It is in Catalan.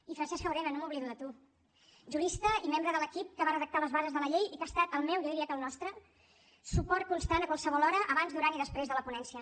i francesc jaurena no m’oblido de tu jurista i membre de l’equip que va redactar les bases de la llei i que ha estat el meu jo diria que el nostre suport constant a qualsevol hora abans durant i després de la ponència